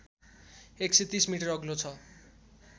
१३० metre अग्लो छ